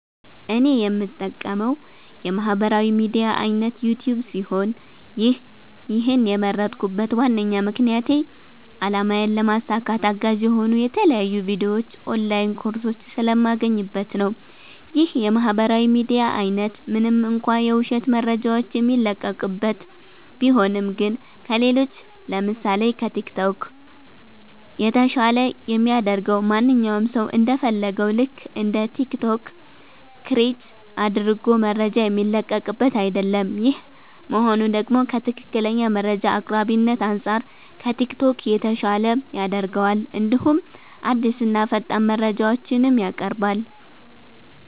እኔ የምጠቀመዉ የማህበራዊ ሚድያ አይነት ዩቲዩብ ሲሆን ይህን የመረጥኩበት ዋነኛ ምክንያቴ አላማዬን ለማሳካት አጋዥ የሆኑ የተለያዩ ቪዲዮዎች ኦንላይን ኮርሶች ስለማገኝበት ነዉ። ይህ የማህበራዊ ሚዲያ አይነት ምንም እንኳ የዉሸት መረጃዎች የሚለቀቅበት ቢሆንም ግን ከሌሎች ለምሳሴ፦ ከቲክቶክ የተሻለ የሚያደርገዉ ማንኛዉም ሰዉ እንደ ፈለገዉ ልክ እንደ ቲክቶክ ክሬት አድርጎ መረጃ የሚለቅበት አይደለም ይሄ መሆኑ ደግሞ ከትክክለኛ መረጃ አቅራቢነት አንፃር ከቲክቶክ የተሻለ ያደርገዋል እንዲሁም አዲስና ፈጣን መረጃዎችንም ያቀርባል።